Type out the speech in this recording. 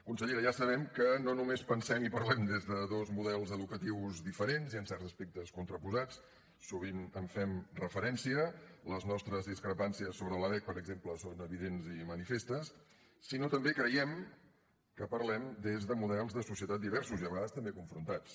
consellera ja sabem que no només pensem i parlem des de dos models educatius diferents i en certs aspectes contraposats sovint hi fem referència les nostres discrepàncies sobre la lec per exemple són evidents i manifestes sinó que també creiem que parlem des de models de societat diversos i a vegades també confrontats